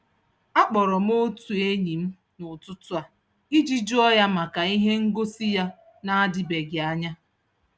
A kpọrọ m otu enyi m n'ụtụtụ a iji juo ya maka ihe ngosị ya n'adịbeghị anya.